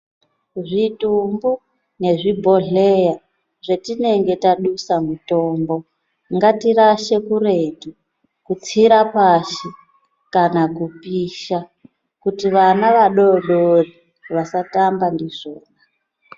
Zvitumbu nezvibhodhleya zvatinenge tadusa mutombo ngatirashe kuretu, kupfira pashi kana kupisha kuti vana vadodori vasatamba ndizvona.